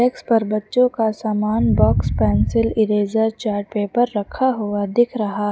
डेक्स पर बच्चों का सामान box pencil eraser chart paper रखा हुआ दिख रहा --